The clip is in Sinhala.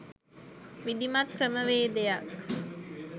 විධිමත් ක්‍රමවේදයක්